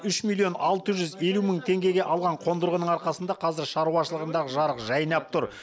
үш миллион алты жүз елу мың теңгеге алған қондырғының арқасында қазір шаруашылығындағы жарық жайнап тұр